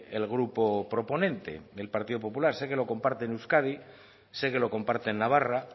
el grupo proponente el partido popular sé que lo comparte en euskadi sé que lo comparte en navarra